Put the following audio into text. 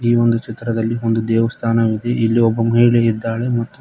ಈ ಒಂದು ಚಿತ್ರದಲ್ಲಿ ಒಂದು ದೇವಸ್ಥಾನವಿದೆ ಇಲ್ಲಿ ಒಬ್ಬ ಮಹಿಳೆ ಇದ್ದಾಳೆ ಮತ್ತು--